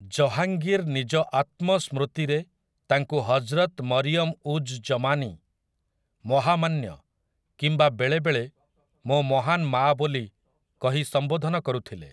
ଜହାଙ୍ଗୀର୍ ନିଜ ଆତ୍ମସ୍ମୃତିରେ ତାଙ୍କୁ 'ହଜରତ୍ ମରିୟମ୍ ଉଜ୍ ଜମାନୀ', 'ମହାମାନ୍ୟ' କିମ୍ବା ବେଳେବେଳେ 'ମୋ ମହାନ ମାଆ' ବୋଲି କହି ସମ୍ବୋଧନ କରୁଥିଲେ ।